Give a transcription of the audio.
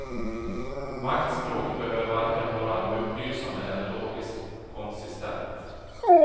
Maktspråk behöver varken vara upplysande eller logiskt konsistent.